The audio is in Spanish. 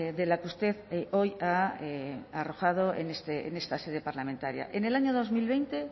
de la que usted hoy ha arrojado en esta sede parlamentaria en el año dos mil veinte